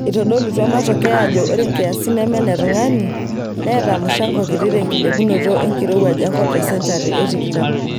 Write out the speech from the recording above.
Eitodolutua matokeo ajo ore nkiasin neme ne tung'ani neeta mushango kiti tenkilepunoto enirowaj enkop tesenchari e tikitam.